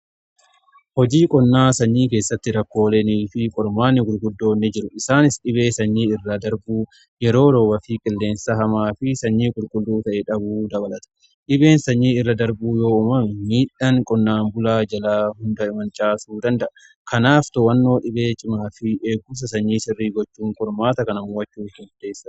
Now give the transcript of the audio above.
Hojii qonnaa sanyii keessatti rakkooleenii fi qormaanni gulguddoon jiru isaanis dhibee sanyii irra darbuu yeroo rooba fi qilleensa hamaa fi sanyii qulqulluu ta'e dhabuu dabalata. Dhibeen sanyii irra darbuu yoo uummame miidhaan qonnaan bulaa jalaa hundaa mancaasuu danda'a kanaaf too'annoo dhibee cimaa fi eegumsa sanyii sirrii gochuun qormaata kana to'achuuf murteessaadha.